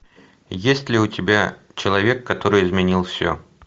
есть ли у тебя человек который изменил все